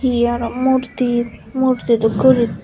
hi aro murti murti dokkeyori.